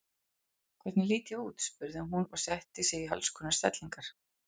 Hvernig lít ég út? spurði hún og setti sig í alls konar stellingar.